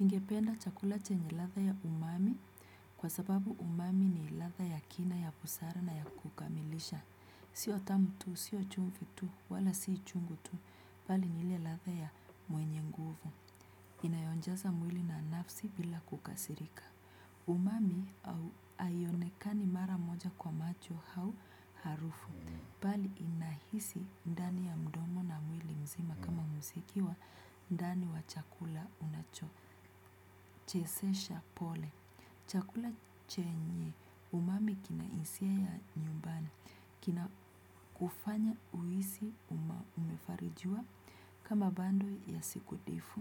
Ningependa chakula chenye ladha ya umami kwa sababu umami ni ladha ya kina ya busara na ya kukamilisha. Sio tamu tu, sio chumvi tu, wala si chungu tu. Bali ni ile ladha ya mwenye nguvu. Inayojaza mwili na nafsi bila kukasirika. Umami au aionekani mara moja kwa macho hau harufu. Bali inahisi ndani ya mdomo na mwili mzima kama mziki wa ndani wa chakula unacho. Chezesha pole chakula chenye umami kina hisia ya nyumbani. Kina kufanya uhisi uma umefarijiwa. Kama bando ya siku difu.